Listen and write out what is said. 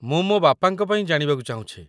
ମୁଁ ମୋ ବାପାଙ୍କ ପାଇଁ ଜାଣିବାକୁ ଚାହୁଁଛି ।